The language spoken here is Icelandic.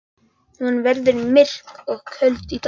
Hún verður myrk og köld í dag.